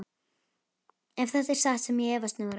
Ef þetta er satt sem ég efast nú reyndar um.